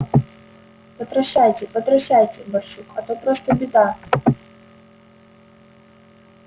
потращайте потращайте барчук а то просто беда